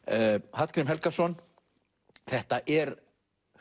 Hallgrím Helgason þetta er